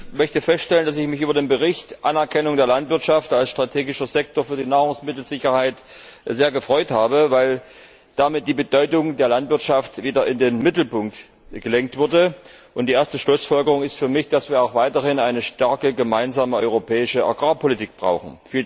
Ich möchte feststellen, dass ich mich über den Bericht Anerkennung der Landwirtschaft als strategischer Sektor für die Nahrungsmittelsicherheit sehr gefreut habe, weil damit die Bedeutung der Landwirtschaft wieder in den Mittelpunkt gerückt wurde, und die erste Schlussfolgerung ist für mich, dass wir auch weiterhin eine starke gemeinsame europäische Agrarpolitik brauchen.